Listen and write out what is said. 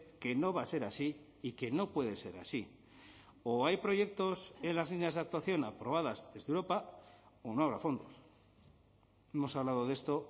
que no va a ser así y que no puede ser así o hay proyectos en las líneas de actuación aprobadas desde europa o no habrá fondos hemos hablado de esto